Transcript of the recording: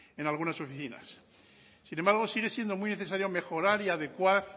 en algunas oficinas sin embargo sigue siendo muy necesario mejorar y adecuar